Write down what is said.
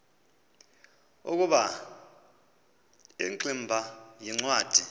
ukuba ingximba yincwadi